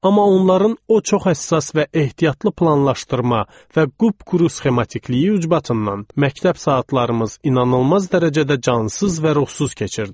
Amma onların o çox həssas və ehtiyatlı planlaşdırma və qupquru sxematikliyi ucbatından məktəb saatlarımız inanılmaz dərəcədə cansız və ruhsuz keçirdi.